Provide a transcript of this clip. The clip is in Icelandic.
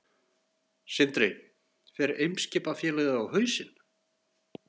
Sindri: Fer Eimskipafélagið á hausinn?